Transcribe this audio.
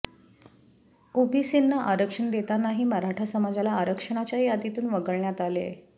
ओबीसींना आरक्षण देतानाही मराठा समाजाला आरक्षणाच्या यादीतून वगळण्यात आले